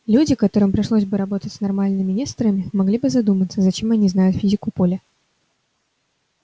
люди которым пришлось бы работать с нормальными несторами могли бы задуматься зачем они знают физику поля